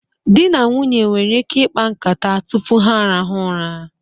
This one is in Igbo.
Di na nwunye nwere ike ikpa nkata tụpụ ha arahụ ụra